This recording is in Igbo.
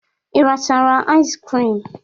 Ị rachara iz krim?